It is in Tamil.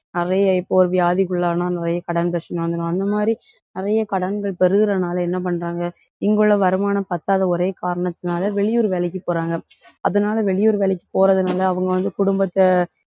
நிறைய இப்போ வியாதிக்குள்ளான நிறைய கடன் பிரச்சனை வந்துரும் அந்த மாறி நிறைய கடன்கள் பெருகுறதனால என்ன பண்றாங்க இங்குள்ள வருமானம் பத்தாத ஒரே காரணத்தினால வெளியூர் வேலைக்கு போறாங்க. அதனால வெளியூர் வேலைக்கு போறதுனால அவங்க வந்து குடும்பத்த